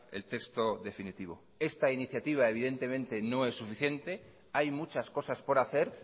el texto definitivo esta iniciativa evidentemente no es suficiente hay muchas cosas por hacer